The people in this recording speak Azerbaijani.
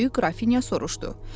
Böyük qrafinya soruşdu.